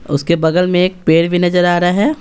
उसके बगल में एक पेड़ भी नजर आ रहा है।